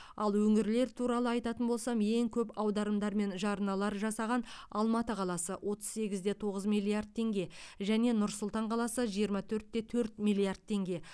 ал өңірлер туралы айтатын болсам ең көп аударымдар мен жарналар жасаған алматы қаласы отыз сегіз де тоғыз миллиард теңге және нұр сұлтан қаласы жиырма төрт те төрт миллиард теңге